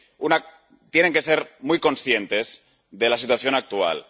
Mire, tienen que ser muy conscientes de la situación actual.